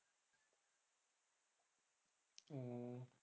হম